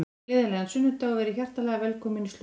Gleðilegan sunnudag og verið hjartanlega velkomin í slúður.